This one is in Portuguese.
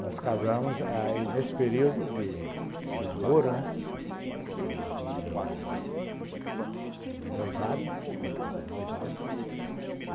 Nós casamos aí nesse período de de namoro, né, e de noivado, que teve o noivado